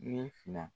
Ni fila